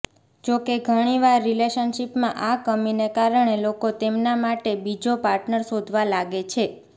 જો કે ઘણીવાર રિલેશનશિપમાં આ કમીને કારણે લોકો તેમના માટે બીજો પાર્ટનર શોધવા લાગે છે